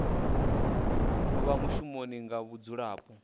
no vha mushumo wa mudzulapo